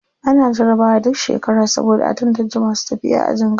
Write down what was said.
Ana jarabawa duk ƙarshen shekara saboda a tantace masu tafiya ajin gaba.